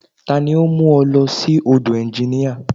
Tani ó ń mú ọ lọ sí ọ̀dọ̀ ẹnginíà?